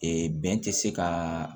bɛn tɛ se ka